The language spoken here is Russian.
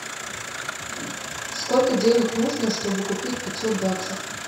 сколько денег нужно чтобы купить пятьсот баксов